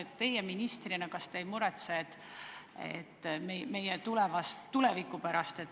Kas teie ministrina ei muretse meie tuleviku pärast?